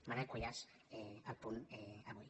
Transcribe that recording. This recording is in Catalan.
manuel cuyàs a el punt avui